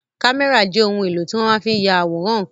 Kámẹ́rà jẹ́ ohun èlò tí wọ́n fi máa n ya àwòrán ǹkan